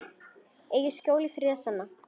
Eigirðu skjól og friðinn sanna.